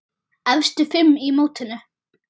Efstu fimm í mótinu